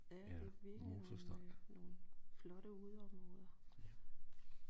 Ja det er virkeligt nogle øh nogle flotte udeområder